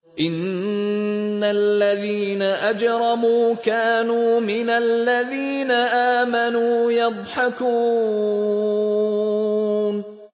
إِنَّ الَّذِينَ أَجْرَمُوا كَانُوا مِنَ الَّذِينَ آمَنُوا يَضْحَكُونَ